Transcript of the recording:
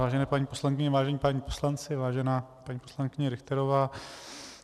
Vážené paní poslankyně, vážení páni poslanci, vážená paní poslankyně Richterová.